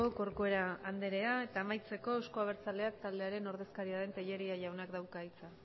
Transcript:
corcuera andrea eta amaitzeko euzko abertzaleak taldearen ordezkaria den tellería jaunak dauka hitza